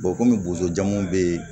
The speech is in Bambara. kɔmi bosojamuw bee